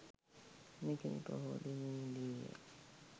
නිකිණි පොහෝ දිනයේ දී ය.